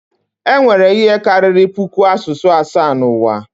Enwere ihe karịrị puku asụsụ asaa n'ụwa